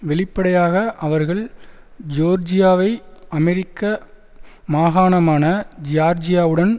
வெளிப்படையாக அவர்கள் ஜோர்ஜியாவை அமெரிக்க மாகாணமான ஜியார்ஜியாவுடன்